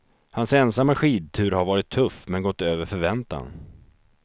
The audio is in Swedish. Hans ensamma skidtur har varit tuff, men gått över förväntan.